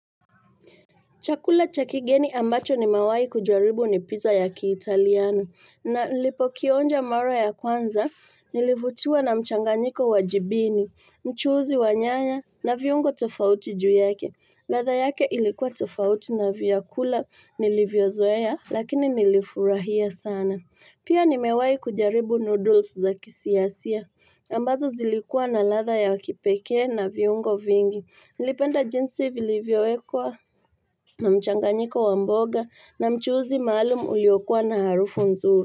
Chakula cha kigeni ambacho nimewai kujaribu ni pizza ya kiitaliano. Na nilipokionja mara ya kwanza nilivutiwa na mchanganyiko wa jibini, mchuzi wa nyanya na viungo tofauti juu yake. Ladha yake ilikuwa tofauti na vyakula nilivyozoea lakini nilifurahia sana. Pia nimewai kujaribu noodles za kisiasia. Ambazo zilikua na ladha ya kipekee na viungo vingi. Nilipenda jinsi vilivyowekwa na mchanganyika wa mboga na mchuzi maalum uliokua na harufu nzuri.